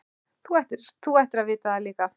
Þú ættir að vita það líka.